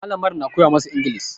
Malamar na koya masu inglis